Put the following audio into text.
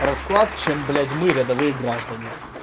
расклад чем блять мы рядовые граждане